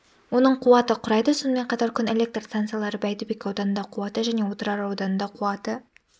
оның қуаты құрайды сонымен қатар күн электр станциялары бәйдібек ауданында қуаты және отырар ауданында қуаты